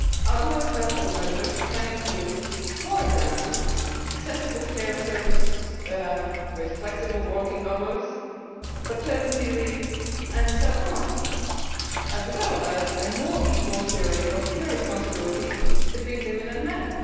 Other helpful measures can include, for example, accessible care services with flexible working hours, paternity leave and so on, as well as a more equal sharing of care responsibilities between women and men.